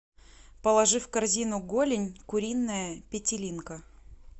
положи в корзину голень куриная петелинка